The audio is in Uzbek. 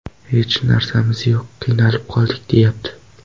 Hech narsamiz yo‘q, qiynalib qoldik’ deyapti.